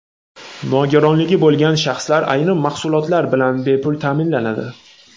Nogironligi bo‘lgan shaxslar ayrim mahsulotlar bilan bepul ta’minlanadi.